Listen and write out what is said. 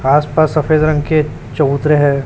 आस पास सफेद रंग के चबूतरें हैं।